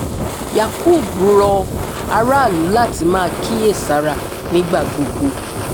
yakub rọ aráàlú láti máa kíyè sára nígbà gbogbo